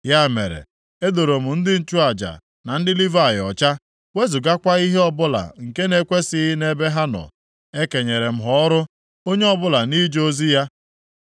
Ya mere, e doro m ndị nchụaja, na ndị Livayị ọcha, wezugakwa ihe ọbụla nke na-ekwesighị nʼebe ha nọ. E kenyere m ha ọrụ, onye ọbụla nʼije ozi ya.